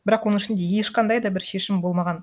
бірақ оның ішінде ешқандай да бір шешім болмаған